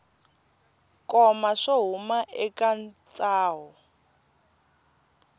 koma swo huma eka ntsaho